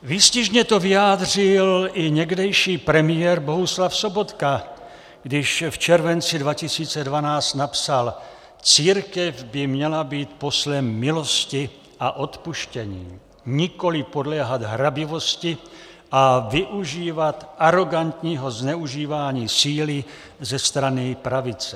Výstižně to vyjádřil i někdejší premiér Bohuslav Sobotka, když v červenci 2012 napsal: Církev by měla být poslem milosti a odpuštění, nikoliv podléhat hrabivosti a využívat arogantního zneužívání síly ze strany pravice.